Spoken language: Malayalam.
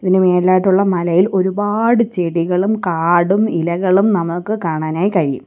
ഇതിനു മേളിലായിട്ടുള്ള മലയിൽ ഒരുപാട് ചെടികളും കാടും ഇലകളും നമുക്ക് കാണാനായി കഴിയും.